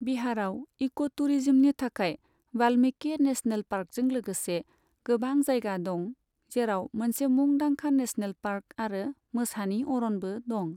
बिहारआव इक' टुरिजमनि थाखाय वाल्मीकि नेसनेल पार्कजों लोगोसे गोबां जायगा दं, जेराव मोनसे मुंदांखा नेसनेल पार्क आरो मोसानि अरनबो दं।